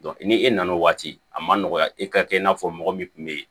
ni e nana o waati a ma nɔgɔ ya e ka kɛ i n'a fɔ mɔgɔ min tun be yen